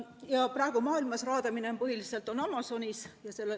Praegu toimub maailmas raadamine põhiliselt Amazonase piirkonnas.